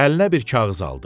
Əlinə bir kağız aldı.